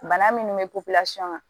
Bana minnu bɛ kan